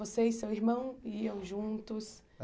Você e seu irmão, iam juntos?